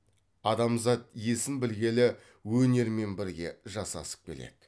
адамзат есін білгелі өнермен бірге жасасып келеді